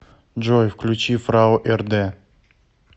джой включи фрау эрде